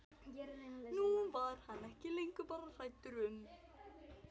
Nú var hann ekki lengur bara hræddur um